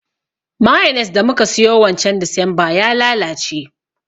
Mayones da muka siyo wancan desemba ya lalace